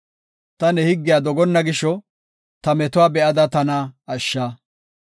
Ta ne higgiya dogonna gisho, ta metuwa be7ada tana ashsha;